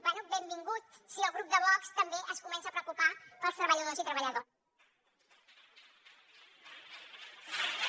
bé benvingut si el grup de vox també es comença a preocupar pels treballadors i treballadores